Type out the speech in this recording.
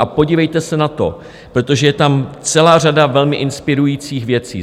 A podívejte se na to, protože je tam celá řada velmi inspirujících věcí.